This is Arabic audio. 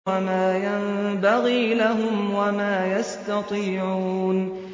وَمَا يَنبَغِي لَهُمْ وَمَا يَسْتَطِيعُونَ